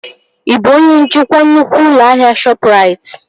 Ị bụ onye njikwa nnukwu ụlọ ahịa Shọpụrait?